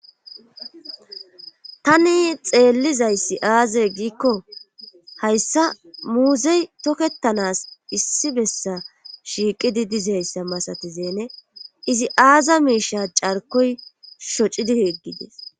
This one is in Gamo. Tani xeellizayssi aaze giikko hayssa muuzey tokkettanas issi bessa shiiqidi dizayssa masatizeene izi aaza miisha carkoy shocidi heggides